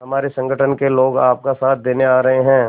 हमारे संगठन के लोग आपका साथ देने आ रहे हैं